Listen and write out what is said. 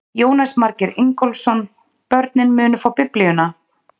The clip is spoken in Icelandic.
Jónas Margeir Ingólfsson: Börnin munu fá biblíuna?